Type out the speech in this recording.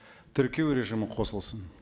тіркеу режимі қосылсын